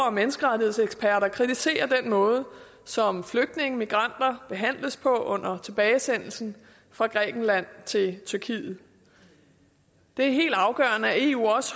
og menneskerettighedseksperter kritiserer den måde som flygtninge og migranter behandles på under tilbagesendelsen fra grækenland til tyrkiet det er helt afgørende at eu